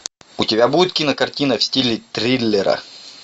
у тебя будет кинокартина в стиле триллера